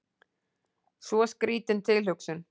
Svo skrítin tilhugsun.